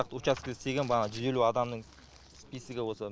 учаскеде істеген жүз елу адамның списогі осы